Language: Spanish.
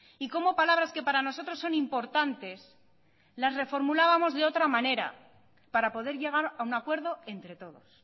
y como palabras que para nosotros son importantes las reformulábamos de otra manera para poder llegar a un acuerdo entre todos